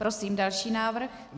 Prosím další návrh.